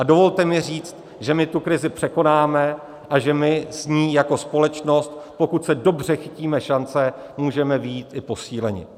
A dovolte mi říct, že my tu krizi překonáme a že my s ní jako společnost, pokud se dobře chytíme šance, můžeme vyjít i posíleni.